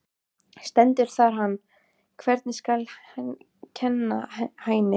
Stendur þar um hann: Hvernig skal kenna Hæni?